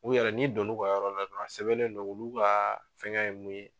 U yɛrɛ n'i don n'u ka yɔrɔ la dɔrɔn a sɛbɛnnen do olu ka fɛngɛ ye mun ye